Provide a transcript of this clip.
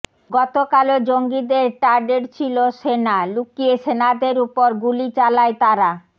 গতকালও জঙ্গিদের টার্ডেট ছিল সেনা লুকিয়ে সেনাদের উপর গুলি চালায় তারা